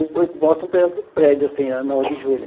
Mostra um pedaço do prédio, assim, na Nove de Julho.